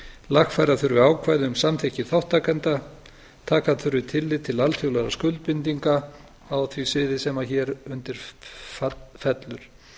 lagfæra þurfi ákvæði um samþykki þátttakenda taka þurfi tillit til alþjóðlegra skuldbindinga á því svið sem hér undir fellur